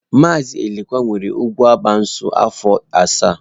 Mazi Elekwa nwere ụkwụ abaa shụụ afọ asaa.